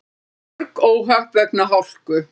Mörg óhöpp vegna hálku